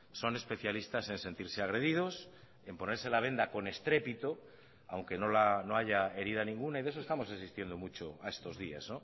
son especialistas en sentirse agredidos en ponerse la venda con estrépito aunque no haya herida ninguna y de eso estamos asistiendo mucho a estos días